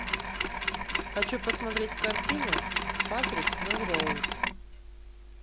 хочу посмотреть картину патрик мелроуз